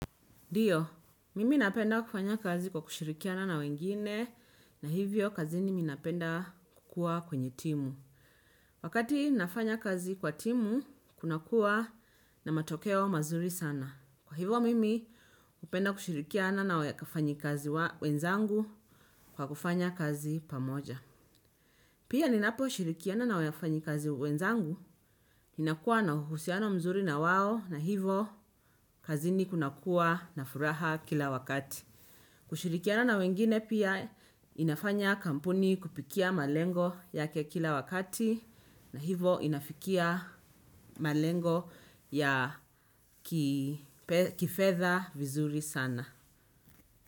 Dio, mimi napenda kufanya kazi kwa kushirikiana na wengine, na hivyo kazini mi napenda kukua kwenye timu. Wakati nafanya kazi kwa timu, kuna kuwa na matokeo mazuri sana. Kwa hivyo mimi, hupenda kushirikiana na wakafanyi kazi wenzangu kwa kufanya kazi pamoja. Pia ninapo shirikiana na wakafanyi kazi wenzangu, inakua na husiano mzuri na wao na hivo kazini kunakuwa na furaha kila wakati. Kushurikiana na wengine pia inafanya kampuni kupitia malengo yake kila wakati na hivo inafikia malengo ya kifedha vizuri sana.